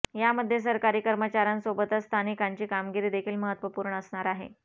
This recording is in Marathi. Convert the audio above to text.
यामध्ये सरकारी कर्मचाऱ्यांसोबतच स्थानिकांची कामगिरी देखील महत्वपूर्ण असणार आहे